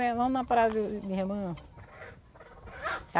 É vamos na praia do de Remanso.